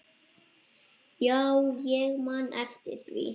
Já, ég man eftir því.